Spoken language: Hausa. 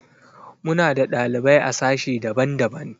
Muna da ɗalibai a sashe daban-daban.